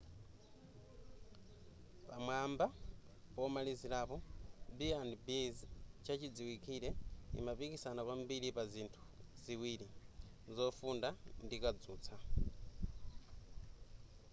pamwamba pomalizirapo b&bs chachidziwikire imapikisana kwambiri pa zinthu ziwiri zofunda ndi kadzutsa